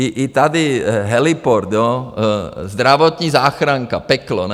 I tady heliport, zdravotní záchranka, peklo, ne?